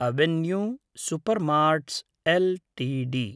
avenue supermarts LTD